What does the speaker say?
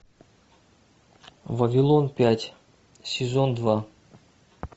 вавилон пять сезон два